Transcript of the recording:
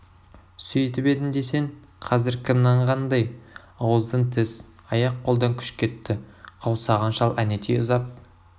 сөйтіп едім десең қазір кім нанғандай ауыздан тіс аяқ қолдан күш кетті қаусаған шал әнетей ұзап